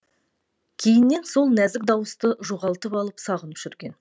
кейіннен сол нәзік дауысты жоғалтып алып сағынып жүрген